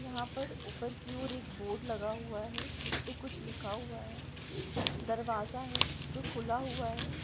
यहाँ पर ऊपर की ओर एक बोर्ड लगा हुआ है जिसपे कुछ लिखा हुआ है। दरवाजा है जो खुला हुआ है।